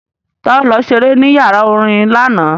Ta ló lọ ṣeré ní yàrá orin lánàá?